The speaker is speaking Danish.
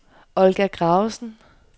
Olga Gravesen